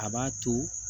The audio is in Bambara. A b'a to